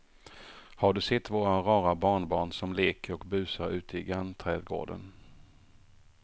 Har du sett våra rara barnbarn som leker och busar ute i grannträdgården!